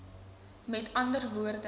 met ander woorde